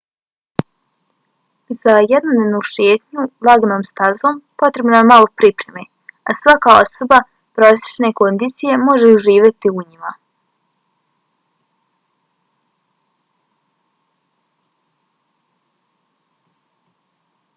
za jednodnevnu šetnju laganom stazom potrebno je malo pripreme a svaka osoba prosječne kondicije može uživati u njima